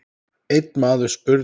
Einn maður spurði